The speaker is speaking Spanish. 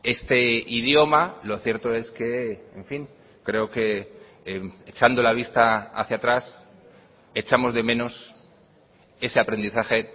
este idioma lo cierto es que en fin creo que echando la vista hacia atrás echamos de menos ese aprendizaje